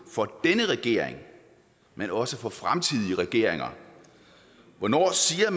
for denne regering men også for fremtidige regeringer hvornår siger